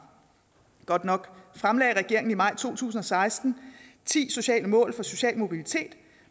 godt nok fremlagde regeringen i maj to tusind og seksten ti sociale mål for social mobilitet